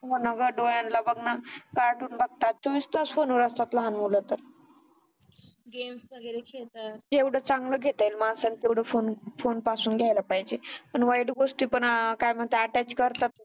हो ना ग डोळ्यांना बघ ना कार्टून बघतात चोवीस तास फोनवर असतात लहान मुल तर games वगैरे खेळता जेवढं चांगलं घेता येईल माणसाने तेवढं फोन पासून घ्यायला पाहिजे. पण वाईट गोष्टी पण काय म्हणतात attach करतात